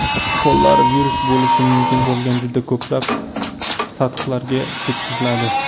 Qo‘llar virus bo‘lishi mumkin bo‘lgan juda ko‘plab sathlarga tekkiziladi.